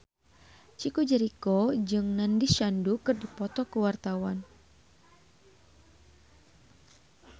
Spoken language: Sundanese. Chico Jericho jeung Nandish Sandhu keur dipoto ku wartawan